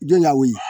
Don lawuli